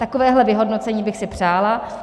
Takovéhle vyhodnocení bych si přála.